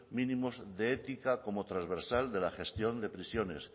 mínimos de ética como transversal de la gestión de prisiones